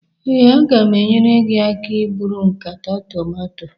ee, a ga m enyere gị aka iburu nkata tomato